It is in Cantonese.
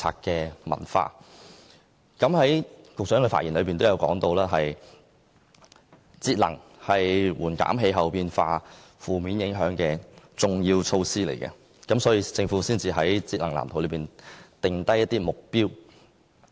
局長的發言亦提到，節能是減緩氣候變化負面影響的重要措施，所以政府才會在節能藍圖中制訂目標。